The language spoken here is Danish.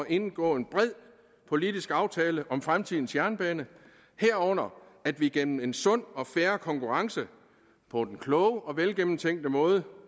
indgå en bred politisk aftale om fremtidens jernbane herunder at vi gennem en sund og fair konkurrence på den kloge og velgennemtænkte måde